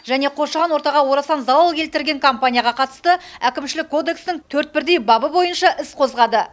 және қоршаған ортаға орасан залал келтірген компанияға қатысты әкімшілік кодекстің төрт бірдей бабы бойынша іс қозғады